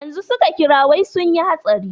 Yanzu su ka kira wai sunyi hatsari.